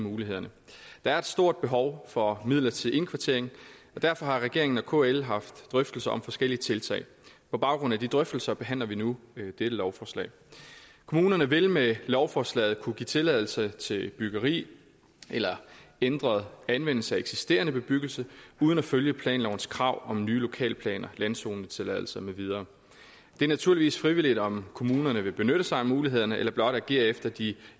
mulighederne der er et stort behov for midlertidig indkvartering og derfor har regeringen og kl haft drøftelser om forskellige tiltag på baggrund af de drøftelser behandler vi nu dette lovforslag kommunerne vil med lovforslaget kunne give tilladelse til byggeri eller ændret anvendelse af eksisterende bebyggelse uden at følge planlovens krav om nye lokalplaner landzonetilladelse med videre det er naturligvis frivilligt om kommunerne vil benytte sig af mulighederne eller blot agere efter de